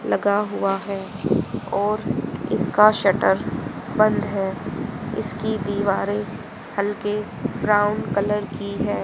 लगा हुआ है और इसका शटर बंद है इसकी दीवारें हल्के ब्राउन कलर की है।